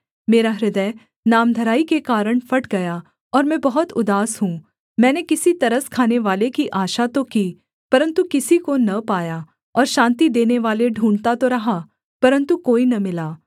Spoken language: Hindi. मेरा हृदय नामधराई के कारण फट गया और मैं बहुत उदास हूँ मैंने किसी तरस खानेवाले की आशा तो की परन्तु किसी को न पाया और शान्ति देनेवाले ढूँढ़ता तो रहा परन्तु कोई न मिला